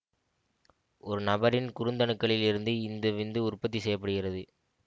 ஒரு நபரின் குருத்தணுக்களில் இருந்து இந்த விந்து உற்பத்தி செய்ய படுகிறது